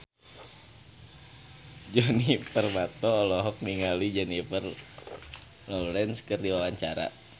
Djoni Permato olohok ningali Jennifer Lawrence keur diwawancara